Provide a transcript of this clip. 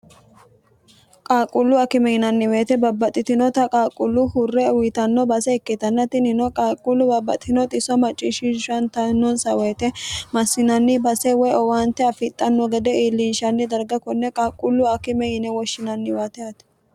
qaaqquullu akime yinanni woyite babbaxxitinota qaaqqullu hurre uyitanno base ikkitanna tinino qaaquullu babbaxitno xiso macciishshishantanonsa woyite massinanni base woy owaante affidhanno gede iillinshanni darga konne qaaqqullu akime yine woshshinanniwate yaate